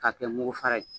K'a kɛ mugu fara ye